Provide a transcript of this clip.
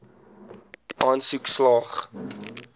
aansoek slaag